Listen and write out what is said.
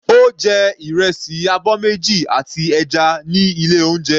Ó jẹ ìrẹsì abọ́ méjì àti ẹja ní ilé oúnjẹ.